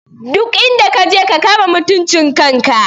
Duk inda kaje ka kama mutuncin kan ka!